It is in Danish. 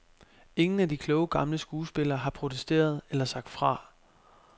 Ingen af de kloge gamle skuespillere har protesteret eller sagt fra.